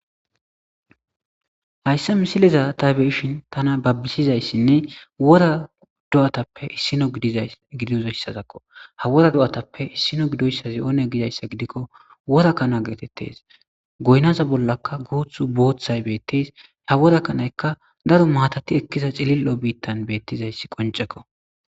hayssa misileza ta beyishin tana babbisizayssinne wora do7atappe issino gidizoyssakko ha wora do7atappe issino gidoyssazi oone gidayssa gidikko wora kana geetettes goynaza bollaka guuth booththay beetteys ha worakanaykka daro maatati ekkiza cilil7o biittan beettizayssi qoncekko